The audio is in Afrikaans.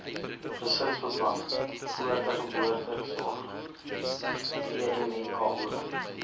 gesinsbeplanning voorgeboortesorg vmnko